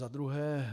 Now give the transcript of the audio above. Za druhé.